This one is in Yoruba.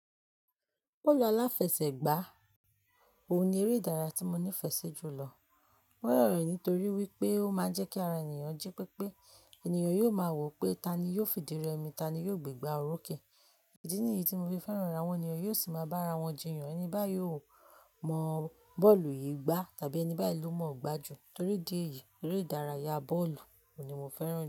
Bọ́ọ̀lù aláfẹsẹ̀gbá òhun ní eré ìdárayá tí mo nífẹ̀ẹ́ sí jùlọ. Mo rò rẹ̀ nítorí wípé ó máa ń jẹ́ kí ara ènìyàn jí pépé. Ènìyàn yóò máa wò pé tani yóò fìdí rẹmi, tani yóò gbé gbá òrùké. Ìdí nìyí tí mo fi fẹ́ràn ràá. Awọ́n ènìyàn yóò sì máa bá ara wọn jiyàn. Ẹni báyìí ò mọ bọ́ọ̀lù yìí gbá tàbí ẹni báyìí ló mọ̀ọ́ gbá jù. Tori idí èyí, eré ìdárayá bọ́ọ̀lù òun ní mo fẹ́ràn jù.